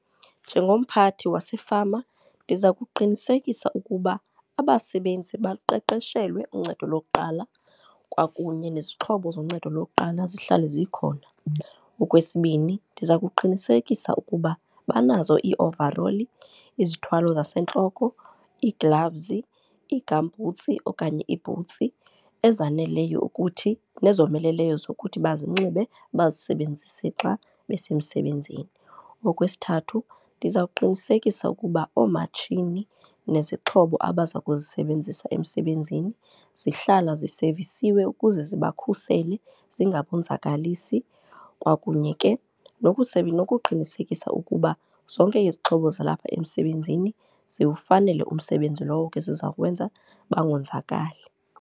Njengomphathi wasefama ndiza kuqinisekisa ukuba abasebenzi baqeqeshelwe uncedo lokuqala kwakunye nezixhobo zoncedo lokuqala zihlale zikhona. Okwesibini ndiza kuqinisekisa ukuba banazo iiovaroli, izithwalo zasentloko, iiglavuzi, ii-gumboots okanye iibhutsi ezaneleyo ukuthi nezomeleleyo zokuthi bazinxibe bazisebenzise xa besemsebenzini. Okwesithathu ndizawuqinisekisa ukuba oomatshini nezixhobo abaza kuzisebenzisa emsebenzini zihlala zisevisiwe ukuze sibakhusele, zingabonzakalisi. Kwakunye ke nokuqinisekisa ukuba zonke izixhobo zalapha emsebenzini zilufanele umsebenzi lowo ke ziza kuwenza, bangonzakali.